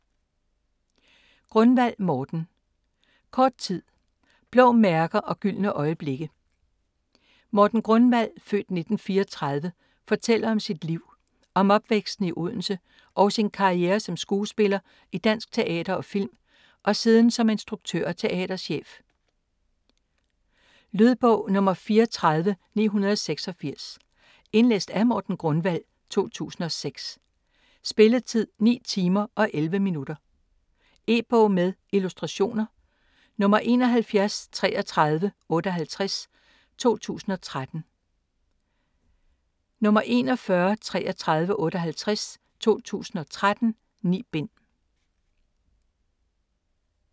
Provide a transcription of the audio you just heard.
Grunwald, Morten: Kort tid: blå mærker og gyldne øjeblikke Morten Grunwald (f. 1934) fortæller om sit liv. Om opvæksten i Odense og sin karriere som skuespiller i dansk teater og film og siden som instruktør og teaterchef. Lydbog 34986 Indlæst af Morten Grunwald, 2006. Spilletid: 9 timer, 11 minutter. E-bog med illustrationer 713358 2013. 413358 2013. 9 bind.